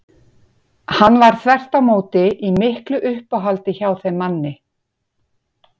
Hann var þvert á móti í miklu uppáhaldi hjá þeim manni.